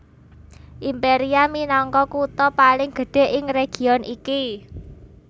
Imperia minangka kutha paling gedhé ing region iki